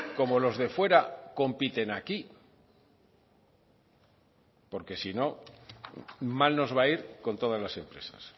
como los de fuera compiten aquí porque si no mal nos va a ir con todas las empresas